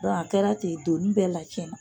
Dɔn a kɛra ten donni bɛɛ lacɛnna.